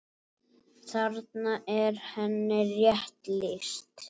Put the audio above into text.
Þarna er henni rétt lýst.